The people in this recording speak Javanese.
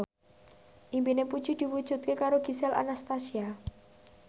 impine Puji diwujudke karo Gisel Anastasia